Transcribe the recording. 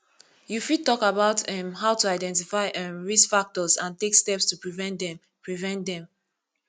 you fit talk about um how to identify um risk factors and take steps to prevent dem prevent dem